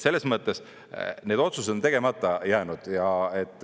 Selles mõttes need otsused on tegemata jäänud.